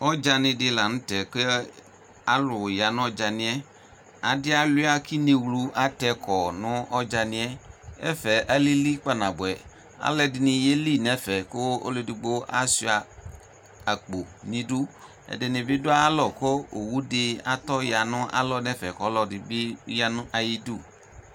Ɔdzani di lanʋtɛ kʋ alʋ ya nʋ ɔdzaniɛ adi aluia kʋ inewlu atɛkɔ nʋ ɔdzaniɛ ɛfɛ alili kpaa nabʋɛ alʋ ɛdini yeli nʋ ɛfɛ kʋ ɔlʋ edigbo asuia akpo nʋ idʋ ɛdinibi dʋ ayu alɔ kʋ owʋdi atɔya nʋ alɔ nʋ ɛfɛ kʋ ɔlʋ ɛdibi yanʋ ayʋ idʋ